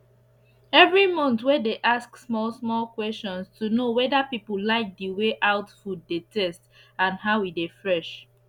everi month wey dey ask small small question to know weda pipu like d way out food dey taste and how e dey fresh